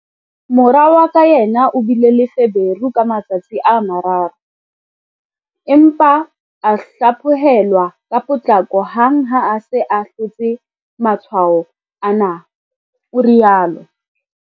Mora wa ka yena o bile le feberu ka matsatsi a mararo, empa a hlaphohel-wa ka potlako hang ha a se a hlotse matshwao ana, o rialo.